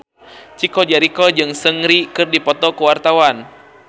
Chico Jericho jeung Seungri keur dipoto ku wartawan